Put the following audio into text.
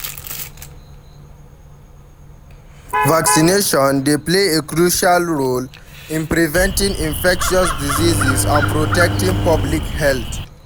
Vaccination dey play a crucial role in preventing infectious diseases and protecting public health.